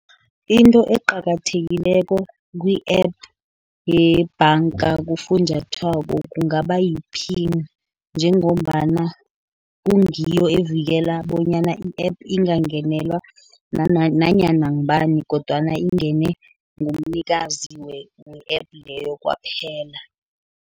Into eqakathekileko kwi-app yebhanka kufunjathwako kungaba yiphini, njengombana kungiyo evikela bonyana i-app ingangenelwa nanyana ngubani, kodwana ingene ngomnikazi we-app leyo kwaphela.